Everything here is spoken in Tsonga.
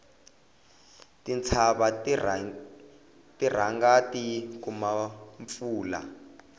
tintshava ti rhanga ti kuma mpfula